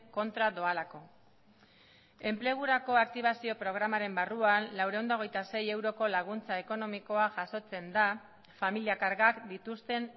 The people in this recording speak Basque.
kontra doalako enplegurako aktibazio programaren barruan laurehun eta hogeita sei euroko laguntza ekonomikoa jasotzen da familia kargak dituzten